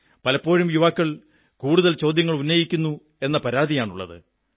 പലപ്പോഴും യുവാക്കൾ കൂടുതൽ ചോദ്യങ്ങളുന്നയിക്കുന്നു എന്ന പരാതിയാണുള്ളത്